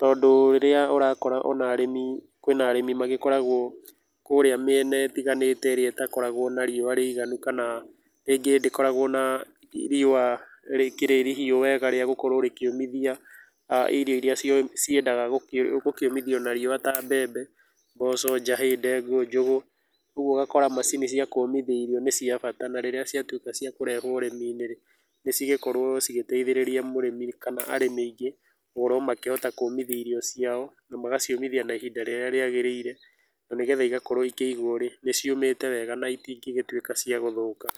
tondũ rĩrĩa ũrakora ona arĩmi kwĩ na arĩmi magĩkoragwo kũrĩa mĩena ĩtiganĩte ĩrĩa ĩtakoragwo na riũa rĩiganu, kana rĩngĩ ndĩkoragwo na riũa rĩkĩrĩ rihiũ wega rĩa gũkorwo rĩkĩũmithia a irio irĩa cio ciendaga gũkĩũmithio na riũa, ta mbembe, mboco, njahĩ, ndengũ, njũgũ, ũguo ũgakora macini cia kũmithia irio nĩ cia bata, na rĩrĩa ciatuĩka ciakũrehwo ũrĩmi-inĩ rĩ, nĩcigũkorwo cigĩteithĩrĩria mũrĩmi kana arĩmi aingĩ gũkorwo makĩhota kũmithia irio ciao na magaciũmithia na ihinda rĩrĩa rĩagĩrĩire, na nĩgetha igakorwo ikĩigwo rĩ, nĩciũmĩte wega na itĩngĩtuĩka cia gũthũka.